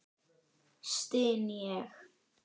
styn ég.